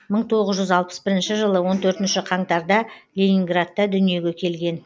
мың тоғыз жүз алпыс бірінші жылы он төртінші қаңтарда ленинградта дүниеге келген